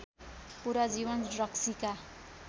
पुरा जीवन रक्सीका